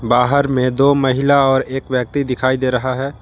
बाहर में दो महिला और एक व्यक्ति दिखाई दे रहा है।